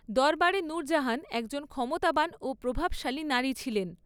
দরবারে নূরজাহান একজন ক্ষমতাবান ও প্রভাবশালী নারী ছিলেন।